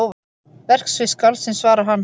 Verksvið skáldsins svarar hann.